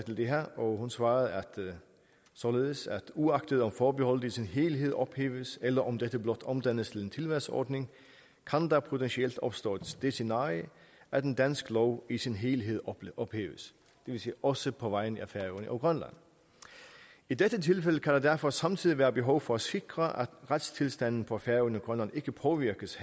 til det her og hun svarede således uagtet om forbeholdet i sin helhed ophæves eller om dette blot omdannes til en tilvalgsordning kan der potentielt opstå det scenarie at en dansk lov i sin helhed ophæves det vil sige også på vegne af færøerne og grønland i dette tilfælde kan der derfor samtidig være behov for at sikre at retstilstanden på færøerne og grønland ikke påvirkes